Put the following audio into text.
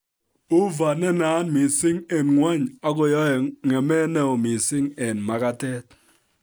Uva nenaat mising eng' ng'ony akoyoe ng'emet neoo mising eng' magatet